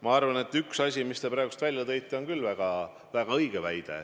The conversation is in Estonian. Ma arvan, et üks asi, mille te praegu välja tõite, on küll väga õige.